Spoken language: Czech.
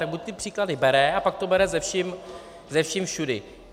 Tak buď ty příklady bere, a pak to bere se vším všudy.